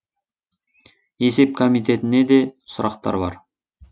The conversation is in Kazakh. есеп комитетіне де сұрақтар бар